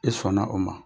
I sɔnna o ma